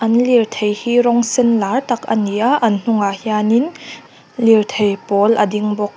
an lirthei hi rawng sen lar tak a ni a an hnungah hianin lirthei pawl a ding bawk.